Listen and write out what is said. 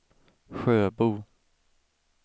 Sjöbo